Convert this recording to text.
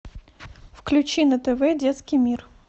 включи на тв детский мир